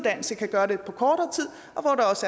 nej det